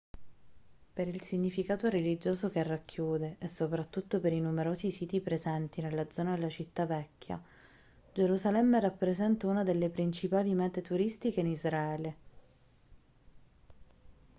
per il significato religioso che racchiude e soprattutto per i numerosi siti presenti nella zona della città vecchia gerusalemme rappresenta una delle principali mete turistiche in israele